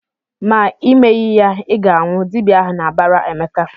"Ma Ị meghị ya, Ị ga-anwụ!" Dibịa ahụ na-abara Emeka.